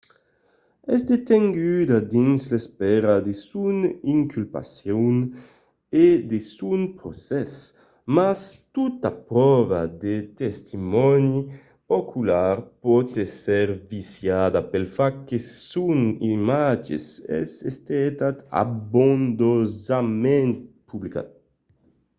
es detenguda dins l'espèra de son inculpacion e de son procès mas tota pròva de testimòni ocular pòt èsser viciada pel fach que son imatge es estat abondosament publicat